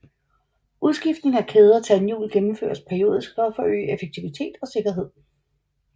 Udskiftning af kæde og tandhjul gennemføres periodisk for at forøge effektivitet og sikkerhed